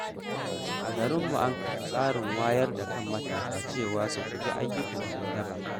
A garinmu, an kafa tsarin wayar da kan matasa cewa su guji shiga ayyukan ‘yan daba.